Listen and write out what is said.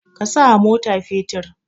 A sawa mota fetur.